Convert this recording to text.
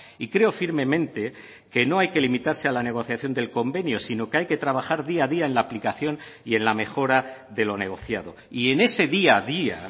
y creo firmemente que no hay que limitarse a la negociación del convenio sino que hay que trabajar día a día en la aplicación y en la mejora de lo negociado y en ese día a día